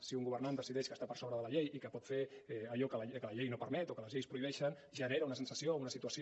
si un governant decideix que està per sobre de la llei i que pot fer allò que la llei no permet o que les lleis prohibeixen genera una sensació o una situació